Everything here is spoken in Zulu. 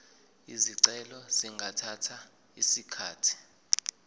izicelo zingathatha isikhathi